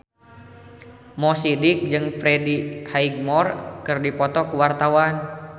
Mo Sidik jeung Freddie Highmore keur dipoto ku wartawan